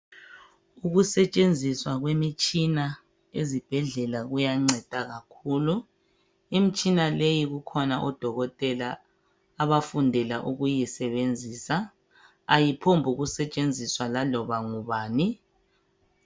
ukusetshenziswa kwemitshina ezibhedlela kuyanceda kakhulu imitshina leyi kukhona odokotela abafundela ukuyisebenzisa ayiphombukusetshenziswa laloba ngubani